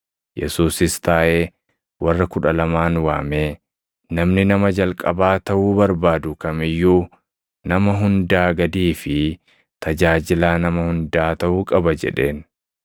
Yesuusis taaʼee warra kudha lamaan waamee, “Namni nama jalqabaa taʼuu barbaadu kam iyyuu nama hundaa gadii fi tajaajilaa nama hundaa taʼuu qaba” jedheen.